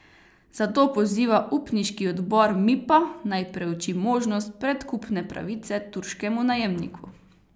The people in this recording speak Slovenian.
Zato poziva upniški odbor Mipa, naj preuči možnost predkupne pravice turškemu najemniku.